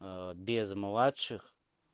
без младших